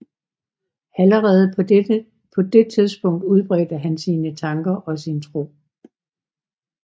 Allerede på det tidspunkt udbredte han sine tanker og sin tro